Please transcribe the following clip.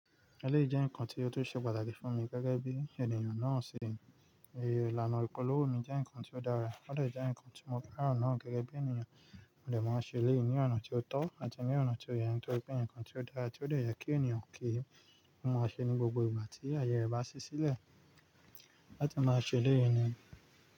Ẹlẹ́yìí jẹ́ nǹkan tí ó tú ṣe pàtàkì fún mi gẹ́gẹ́ bí ènìyàn náà ṣe mi. Ilanà ìpolówó mi jẹ́ nǹkan tí ó dára, ó dè jẹ́ nǹkan tí mo féràn náà gẹ́gẹ́ bí ènìyàn. Mó dè máa ń ṣe eléyìí ní ọ̀nà tí ó tọ́ àti ní ọ̀nà tí ó yẹ, nítorí pé nǹkan tí ó dára tí ó dè yẹ kí ènìyàn kí í ó máa ṣe ní gbogbo ìgbà tí ayẹ rẹ bá ṣí sílẹ̀ láti máa ṣe eléyìí ni.